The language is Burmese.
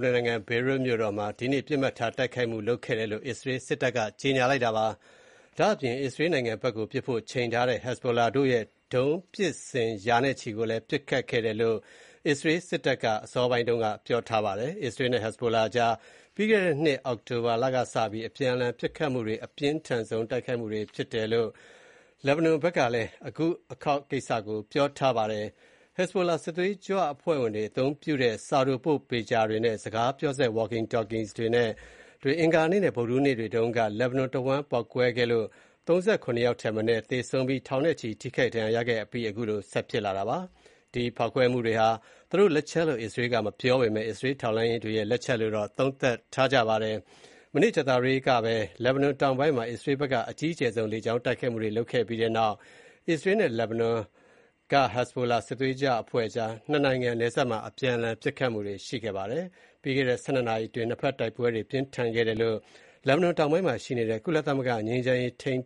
နွန်နိုင်ငံ Beirut (ဘေရွတ်) မြို့တော်မှာ ဒီနေ့ ပစ်မှတ်ထား တိုက်ခိုက်မှုလုပ်ခဲ့တယ်လို့ အစ္စရေးစစ်တပ်က ကြေညာပါတယ်။ အစ္စရေးနိုင်ငံဘက်ကို ပစ်ဖို့ ချိန်ထားတဲ့ Hezbollah အဖွဲ့ရဲ့ ဒုံးပစ်စင်ရာနဲ့ချီကို ပစ်ခတ်ခဲ့တယ်လို့ အစ္စရေးစစ်တပ်က အစောပိုင်းတုန်းကလည်း ပြောပြပါတယ်။ အစ္စရေးနဲ့ Hezbollah ကြား ပြီးခဲ့တဲ့နှစ် အောက်တိုဘာလက စပြီး အပြန်အလှန် ပစ်ခတ်နေမှုတွေအတွင်း အပြင်းထန်ဆုံး တိုက်ခိုက်မှုတွေဖြစ်တယ်လို့ လက်ဘနွန်ဘက်က ပြောပါတယ်။ Hezbollah စစ်သွေးကြွအဖွဲ့ဝင်တွေ အသုံးပြုတဲ့ စာတိုပို့ Pager တွေနဲ့ စကားပြော walkie-talkies တွေ အင်္ဂါနဲ့ ဗုဒ္ဓဟူးနေ့တွေတုန်းက လက်ဘနွန်တဝန်း ပေါက်ကွဲခဲ့လို့ ၃၇ ယောက်ထက်နည်းသေဆုံးပြီး ထောင်နဲ့ချီ ထိခိုက်ဒဏ်ရာရခဲ့ပါတယ်။ ဒီဖောက်ခွဲမှုတွေဟာ သူတို့လက်ချက်လို့ အစ္စရေးကမပြောပေမဲ့ အစ္စရေးထောက်လှမ်းရေးတွေရဲ့ လက်ချက်လို့ သုံးသပ်နေကြပါတယ်။ ကြာသပတေးနေ့က လက်ဘနွန်တောင်ပိုင်းမှာ အစ္စရေးဘက်က အကြီးကျယ်ဆုံး လေကြောင်းတိုက်ခိုက်မှုတွေလုပ်ခဲ့ပြီးနောက် အစ္စရေး လက်ဘနွန်က Hezbollah စစ်သွေးကြွအဖွဲ့ကြား ၂ နိုင်ငံနယ်စပ်မှာ အပြန်အလှန် ပစ်ခတ်မှုတွေရှိခဲ့ပါတယ်။ ပြီးခဲ့တဲ့ ၁၂ နာရီအတွင်း နှစ်ဘက် တိုက်ပွဲတွေပြင်းထန်ခဲ့တယ်လို့ လက်ဘနွန်တောင်ပိုင်းမှာရှိနေတဲ့ ကုလသမဂ္ဂငြိမ်းချမ်းရေးထိန်